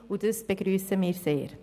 Das begrüssen wir sehr.